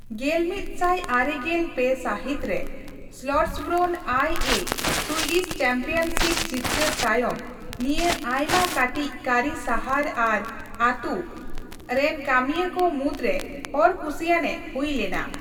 ᱜᱮᱞᱢᱤᱛ ᱥᱟᱭ ᱟᱨᱮᱜᱮᱞ ᱯᱮ ᱥᱟᱹᱦᱤᱛ ᱨᱮ ᱥᱞᱚᱴᱥᱵᱨᱳᱱ ᱟᱭ ᱮᱷ ᱥᱩᱭᱰᱤᱥ ᱪᱮᱢᱯᱤᱭᱚᱱᱥᱤᱯ ᱡᱤᱛᱠᱟᱹᱨ ᱛᱟᱭᱚᱢ, ᱱᱤᱭᱟᱹ ᱟᱭᱢᱟ ᱠᱟᱹᱴᱤᱡ ᱠᱟᱹᱨᱤ ᱥᱟᱦᱟᱨ ᱟᱨ ᱟᱹᱛᱩ ᱨᱮᱱᱠᱟᱹᱢᱤᱭᱟᱹ ᱠᱚ ᱢᱩᱫᱨᱮ ᱦᱚᱲ ᱠᱩᱥᱤᱭᱟᱱ ᱮ ᱦᱩᱭ ᱞᱮᱱᱟ ᱾